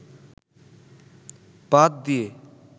বাধ দিয়ে